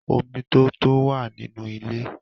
Omi tó tó wà nínú ilé